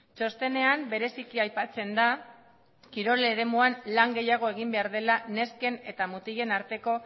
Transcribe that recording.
txostenean bereziki aipatzen da kirol eremuan lan gehiago egin behar dela nesken eta mutilen arteko